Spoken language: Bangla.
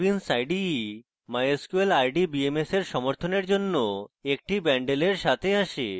netbeans ide mysql rdbms এর সমর্থনের জন্য একটি বন্ডেলের সাথে আসে